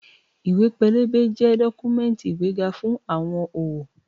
Ìwé-pélébé jẹ́ dọ́kúmẹ́ǹtì ìgbéga fún àwọn òwò